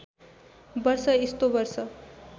वर्ष यस्तो वर्ष